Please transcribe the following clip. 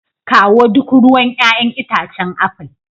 Kawo duk ruwan 'ya'yan itacen apple.